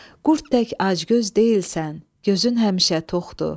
Qurd tək acgöz deyilsən, gözün həmişə toxdur.